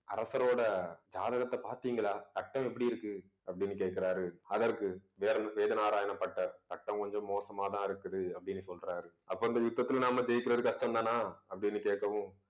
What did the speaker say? அரசரோட ஜாதகத்த பார்த்தீங்களா கட்டம் எப்படி இருக்கு அப்பிடின்னு கேட்கிறாரு. அதற்கு வேற~ வேதநாராயணப்பட்டர் கட்டம் கொஞ்சம் மோசமா தான் இருக்குது அப்பிடின்னு சொல்றாரு அப்ப அந்த யுத்தத்தில நாம ஜெயிக்கிறது கஷ்டம் தானா அப்பிடின்னு கேட்கவும்